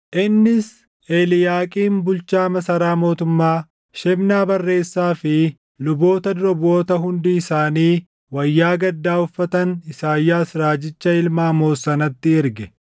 Innis Eliiyaaqiim bulchaa masaraa mootummaa, Shebnaa barreessaa fi luboota dura buʼoota hundi isaanii wayyaa gaddaa uffatan Isaayyaas raajicha ilma Amoos sanatti erge.